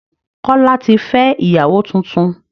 Kọ́lá tí fẹ́ ìyàwó tuntun